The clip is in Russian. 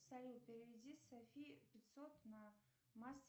салют переведи софи пятьсот на